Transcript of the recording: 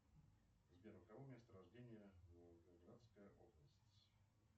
сбер у кого место рождения волгоградская область